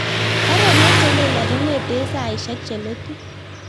Baruonok chelelach kongeten saisiek cheletu